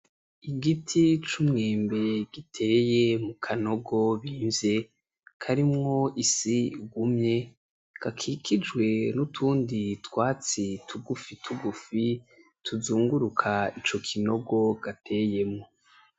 Igiti c'umwembe giteye mukanogo bimvye karimwo isi igumye, gakikijwe N’utundi twatsi tugufi tugufi tuzunguruka ico kinogo gateyemwo.